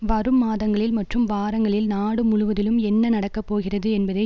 வரும் மாதங்களில் மற்றும் வாரங்களில் நாடு முழுவதிலும் என்ன நடக்கப்போகிறது என்பதை